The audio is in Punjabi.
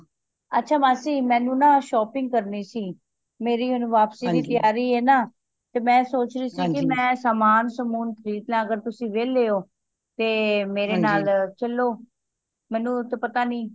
ਅੱਛਾ ਮਾਸੀ ਮੈਨੂੰ ਨਾ shopping ਕਰਨੀ ਸੀ ਮੇਰੀ ਹੁਣ ਵਾਪਸੀ ਵਾਪਸੀ ਦੀ ਤਿਆਰੀ ਏ ਨਾ ਤੇ ਮੈਂ ਸੋਚ ਰੀ ਸੀ ਕਿ ਮੈਂ ਸਾਮਾਨ ਸਮੁਨ ਖਰੀਦ ਲਾਂ ਅਗਰ ਤੁਸੀ ਵੇਹਲੇ ਹੋ ਤੇ ਮੇਰੇ ਨਾਲ ਚੱਲੋ ਮੈਨੂੰ ਤੇ ਪਤਾ ਨਹੀਂ